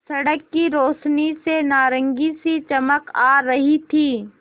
सड़क की रोशनी से नारंगी सी चमक आ रही थी